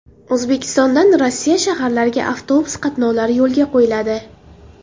O‘zbekistondan Rossiya shaharlariga avtobus qatnovlari yo‘lga qo‘yiladi .